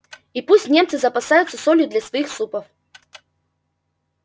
и пусть немцы запасаются солью для своих супов